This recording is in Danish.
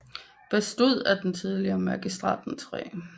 Bestod af den tidligere Magistratens 3